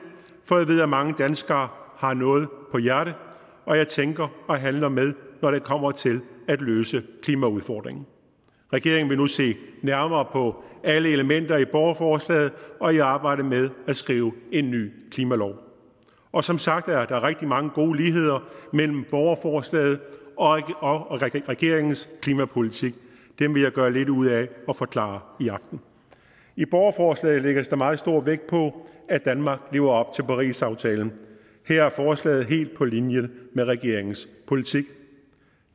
for jeg ved at mange danskere har noget på hjerte og jeg tænker og handler med når det kommer til at løse klimaudfordringen regeringen vil nu se nærmere på alle elementer i borgerforslaget og i arbejdet med at skrive en ny klimalov og som sagt er der rigtig mange gode ligheder mellem borgerforslaget og regeringens klimapolitik dem vil jeg gøre lidt ud af at forklare i aften i borgerforslaget lægges der meget stor vægt på at danmark lever op til parisaftalen her er forslaget helt på linje med regeringens politik